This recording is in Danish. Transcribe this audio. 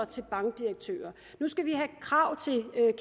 til bankdirektører at nu skal vi have krav til